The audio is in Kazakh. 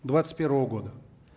двадцать первого года